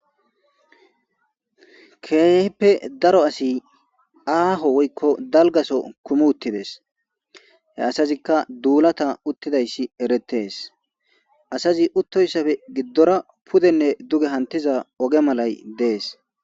Keehippe daro asi aaho soho woykko dalga soho kumi uttides, he asazikka duulata uttidayssi erettees asazi uttoysape giddora pudenne duge hamettizay oge malay dees.